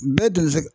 Bɛɛ deli